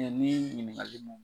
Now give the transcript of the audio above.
Ni ɲininkali la